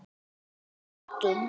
Hversu meiddur?